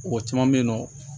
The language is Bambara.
Mɔgɔ caman bɛ yen nɔ